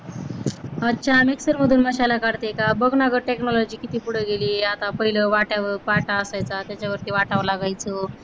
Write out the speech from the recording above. अच्छा mixer मधनं मसाला काढते का? बघ ना technology किती पुढे गेली आता, पहिल वाट्यावर पाटा असायचा त्याच्यावर वाटायला लागायचं.